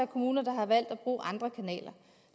kommuner der har valgt at bruge andre kanaler